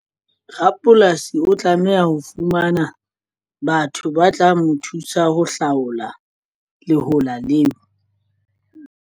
Rapolasi o tlameha ho fumana batho ba tla mo thusa ho hlaola lehola leo.